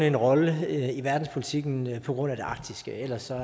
en rolle i verdenspolitikken på grund af det arktiske ellers er